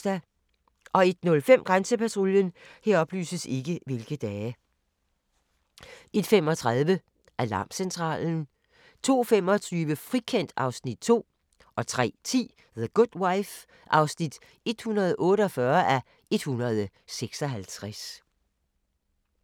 01:05: Grænsepatruljen 01:35: Alarmcentralen 02:25: Frikendt (Afs. 2) 03:10: The Good Wife (148:156)